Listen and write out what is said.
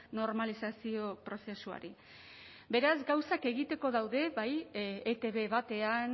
normalizazio prozesuari beraz gauzak egiteko daude bai etb batean